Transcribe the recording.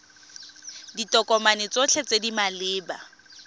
ditokomane tsotlhe tse di maleba